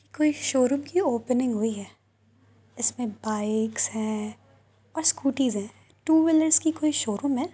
कोई शोरूम कि ओपनिंग हुई है। इसमें बाइक्स हैं और स्कूटीस हैं। टू-व्हीलर की कोई शोरूम है।